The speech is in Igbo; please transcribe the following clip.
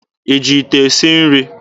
Ị ji ite esi nri?